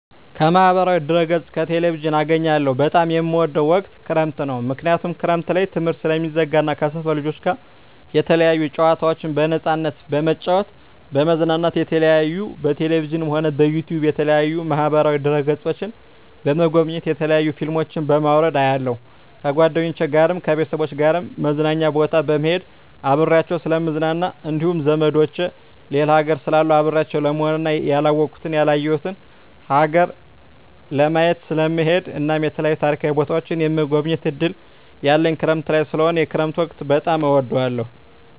ከማህበራዊ ድህረገፅ ከቴሌቪዥን አገኛለሁ በጣም የምወደዉ ወቅት ክረምት ነዉ ምክንያቱም ክረምት ላይ ትምህርት ስለሚዘጋ እና ከሰፈር ልጆች ጋር የተለያዩ ጨዋታዎችን በነፃነት በመጫወት በመዝናናት የተለያዩ በቴሌቪዥንም ሆነ በዩቱዩብ በተለያዩ ማህበራዋ ድህረ ገፆችን በመጎብኘት የተለያዩ ፊልሞችን በማዉረድ አያለሁ ከጓደኞቸ ጋር ከቤተሰቦቸ ጋር መዝናኛ ቦታ በመሄድና አብሬያቸዉ ስለምዝናና እንዲሁም ዘመዶቸ ሌላ ሀገር ስላሉ አብሬያቸው ለመሆንና ያላወኩትን ያላየሁትን ሀገር ለማየት ስለምሄድ እናም የተለያዩ ታሪካዊ ቦታዎችን የመጎብኘት እድል ያለኝ ክረምት ላይ ስለሆነ የክረምት ወቅት በጣም እወዳለሁ